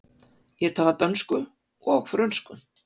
Ég tala dönsku og frönsku.